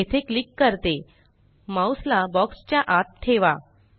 मी येथे क्लिक करते माउस ला बॉक्स चा आत ठेवा